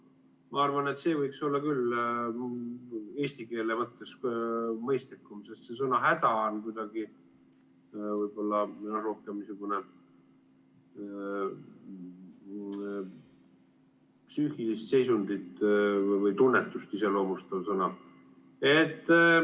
Ma arvan, et see võiks olla küll eesti keele mõttes mõistlikum, sest see sõna "häda" on kuidagi rohkem niisugune psüühilist seisundit või tunnetust iseloomustav sõna.